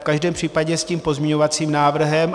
V každém případě s tím pozměňovacím návrhem.